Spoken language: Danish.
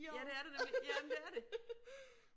Ja det er der nemlig, jamen det er det